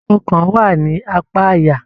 Ọkàn wá ní apá àyà.